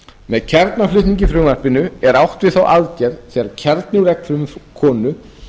með kjarnaflutningi í frumvarpinu er átt við þá aðgerð þegar kjarni úr eggfrumu konu